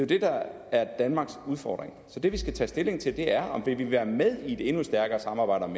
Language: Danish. det der er danmarks udfordring og det vi skal tage stilling til er om vi vil være med i et endnu stærkere samarbejde om